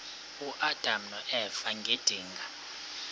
uadam noeva ngedinga